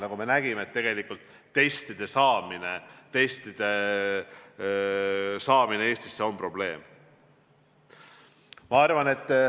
Nagu me näinud oleme, tegelikult on testide Eestisse saamine probleem.